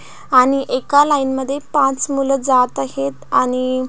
आणि एका लाइन मध्ये पाच मुल जात आहेत आणि--